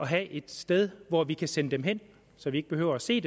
have et sted hvor vi kan sende dem hen så vi ikke behøver at se